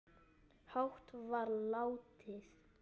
hátt var látið